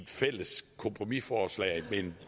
fælles kompromisforslag men